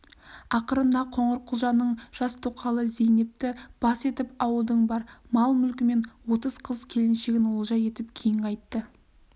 ақырында қоңырқұлжаның жас тоқалы зейнепті бас етіп ауылдың бар мал-мүлкі мен отыз қыз келіншегін олжа етіп кейін қайтты